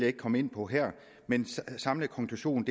ikke komme ind på her men den samlede konklusion